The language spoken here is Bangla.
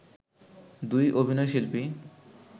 দুই অভিনয়শিল্পী